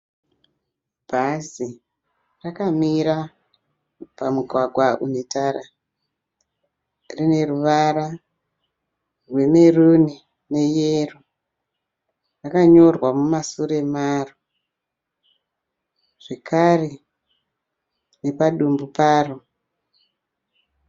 Bhazi rakamira pamugwagwa une tara. Rine ruvara rwemeruni neyero. Rakanyorwa mumasure maro zvekare nepadumbu paro.